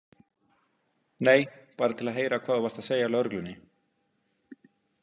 Nei, bara til að heyra hvað þú varst að segja lögreglunni.